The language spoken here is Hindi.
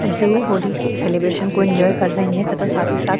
जो होली के सेलेब्रेशन को एन्जॉय कर रहे है तथा साथ ही साथ --